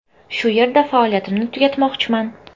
Shu yerda faoliyatimni tugatmoqchiman.